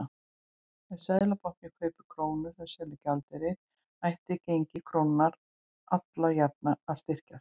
Ef Seðlabankinn kaupir krónur og selur gjaldeyri ætti gengi krónunnar alla jafna að styrkjast.